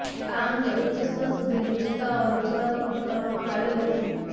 આ અંગે ઉચ્ચ સ્તર સુધી રજૂઆતો પણ કરવામાં આવી હતી